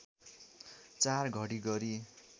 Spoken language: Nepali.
४ घडी गरी